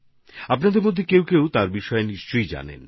আপনাদের মধ্যে অনেকেই তাঁর সম্পর্কে অবশ্যই জানবেন